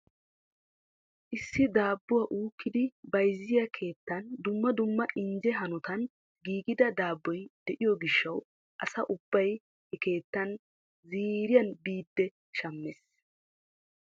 Issi daabbuwa uukkidi bayzziya keettan dumma dumma injje hanotan giigida daabboy de'iyo gishshaw asa ubbay he keettaa ziiriyan biidi shammees.